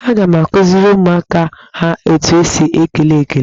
Aga m akụziri ụmụaka ha etu esi ekele ekele.